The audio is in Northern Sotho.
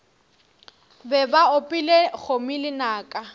be ba opile kgomo lenaka